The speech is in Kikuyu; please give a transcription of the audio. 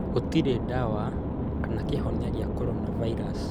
Gũtirĩ ndawa kana kĩhonia gĩa coronavirus